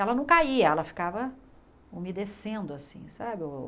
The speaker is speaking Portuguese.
Ela não caía, ela ficava umedecendo assim, sabe o?